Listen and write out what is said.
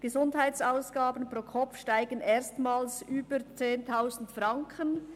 Gesundheitsausgaben pro Kopf steigen erstmals über 10 000 Franken».